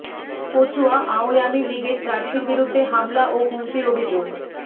কচুয়া আওয়ামী লীগের প্রার্থীর বিরুদ্ধে হামলা ও হুমকির অভিযোগ